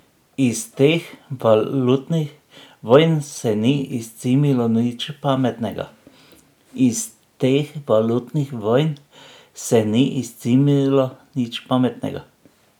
Iz teh valutnih vojn se ni izcimilo nič pametnega.